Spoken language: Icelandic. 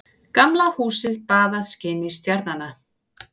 Gamla húsið baðað skini stjarnanna.